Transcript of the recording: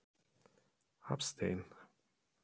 Hafsteinn: Búið að vera gaman?